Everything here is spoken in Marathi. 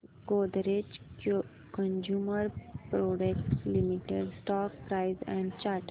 Godrej consumer products limited stock price and chart